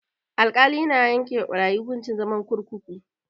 Alkali yana yanke wa barayi hukuncin zama gidan kurkuku.